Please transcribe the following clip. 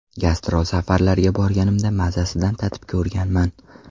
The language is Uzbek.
Gastrol safarlarga borganimda mazasidan tatib ko‘rganman.